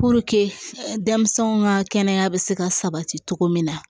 denmisɛnw ka kɛnɛya bɛ se ka sabati cogo min na